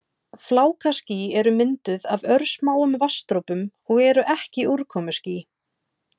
Flákaský eru mynduð af örsmáum vatnsdropum og eru ekki úrkomuský.